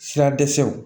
Sira dɛsɛw